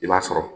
I b'a sɔrɔ